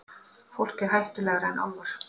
Fólk er hættulegra en álfar.